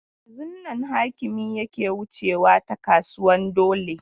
Yanzun nan Hakimi yake wucewa ta kasuwan dole.